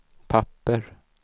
papper